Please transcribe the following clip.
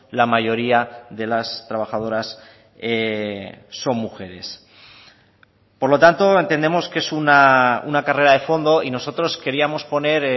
la mayoría de las trabajadoras son mujeres por lo tanto entendemos que es una carrera de fondo y nosotros queríamos poner